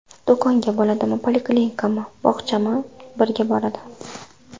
Do‘konga bo‘ladimi, poliklinikami, bog‘chami birga boradi.